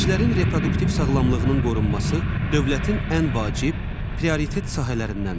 Gənclərin reproduktiv sağlamlığının qorunması dövlətin ən vacib prioritet sahələrindəndir.